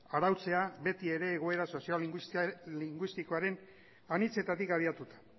arautzea beti ere egoera sozio linguistikoaren anitzetatik abiatuta